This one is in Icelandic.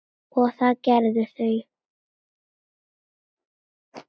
og það gerðu þau.